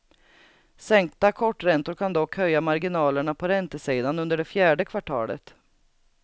Sänkta korträntor kan dock höja marginalerna på räntesidan under det fjärde kvartalet.